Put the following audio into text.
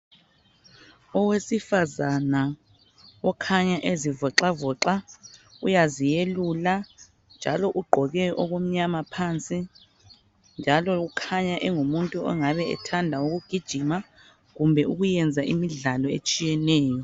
Owesifazana okhanya ezivoxavoxa uyaziyelula njalo ugqoke okumnyama phansi njalo ukhanya engumuntu ongabe ethanda ukugijima kumbe ukuyenza imidlalo etshiyeneyo.